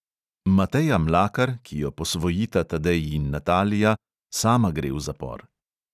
Mateja mlakar, ki jo posvojita tadej in natalija, sama gre v zapor.